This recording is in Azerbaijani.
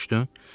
Başa düşdün?